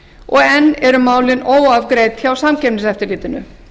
og enn eru málin óafgreidd hjá samkeppniseftirlitinu